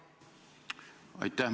Aitäh!